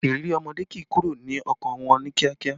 Ìrírí ọmọdé kì í kúrò ní ọkàn wọn ní kíákíá